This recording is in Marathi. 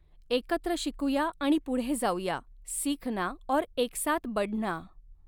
एकत्र शिकूया आणि पुढे जाऊया, सीखना और एकसाथ बढ़ना